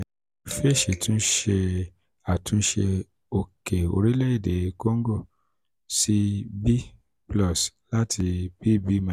fitch tun ti ṣe atunṣe oke orilẹ ede congo si congo si 'b +' lati 'bb-'.